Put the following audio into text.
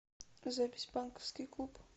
запись банковский клуб